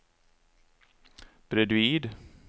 bredvid